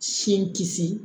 Sin kisi